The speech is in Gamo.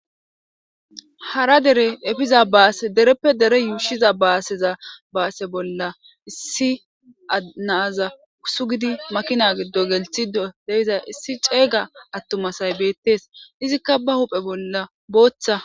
Hara dere epiza base derepe dere yushiza base bolla issi na'aza suqidi makinagido gelisisa issi chega atuma asay betes izika ba huphe bolla botha